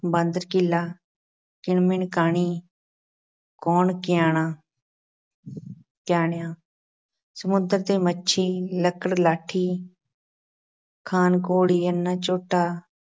ਬਾਂਦਰ-ਕੀਲਾ, ਕਿਣ-ਮਿਣ ਕਾਣੀ ਕੌਣ ਕਿਆਣਾ ਕਿਆਣਿਆ, ਸਮੁੰਦਰ ਤੇ ਮੱਛੀ, ਲੱਕੜ-ਕਾਠੀ ਖ਼ਾਨ- ਘੋੜੀ, ਅੰਨ੍ਹਾ ਝੋਟਾ,